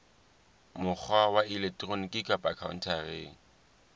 mokgwa wa elektroniki kapa khaontareng